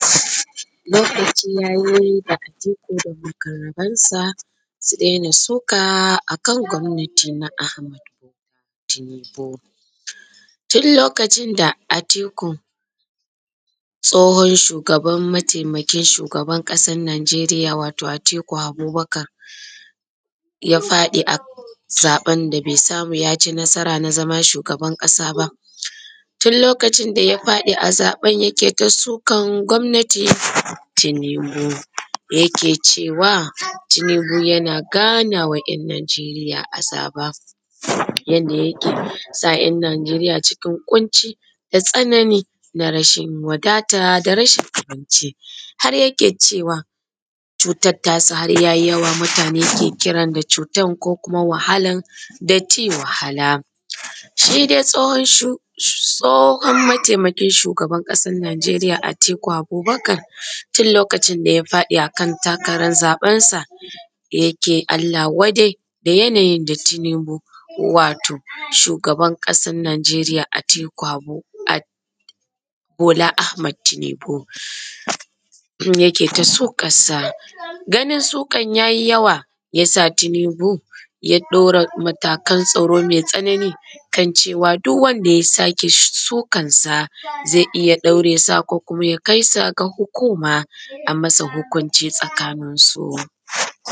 Lokaci yayi da Atiku da muƙarabansa su daina suka a kan gwamnati na Ahmad Bola Tinubu. Tun lokacin da Atiku tsohon shugaban mataimakin shugaban ƙasan Najeriya wato Atiku Abubakar ya faɗi a zaɓan da bai samu ya ci nasara na zama shugaban ƙasa ba, tun lokacin da ya faɗi a zaɓan yake kai sukan gwamnati akan Tinubu. Da yake cewa Tinubu yana ganawa 'yan Najeriya azaba. Yanda yake sa 'yan Najeriya cikin ƙunci, da tsanani, da rashin wadata, da rashin abinci, har yake cewa cutar ta sa har yayi yawa. Mutane ke kiran da cutan ko wahalan dirty wahala. Sai dai tsohon mataimakin shugaban ƙasan Najeriya Atiku Abubakar tun lokacin da ya faɗi a kan takaran zaɓensa yake Allah wadai da yanayin da Tinubu wato shugaban ƙasan Najeriya Atiku Abubakar Bola Ahmad Tinubu inda yake ta sukarsa. Ganin sukar ya yi yawa ya sa Tinubu ya ɗaura matakan tsaro mai tsanani kan cewa duk wanda ya sake sukansa zai iya ɗaure sa ko kuma ya kaisa ga hukuma a masa hukunci tsakaninsu.